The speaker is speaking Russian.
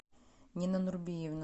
нина нурбиевна